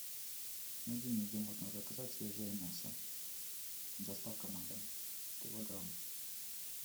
найди мне где можно заказать свежее мясо доставка на дом килограмм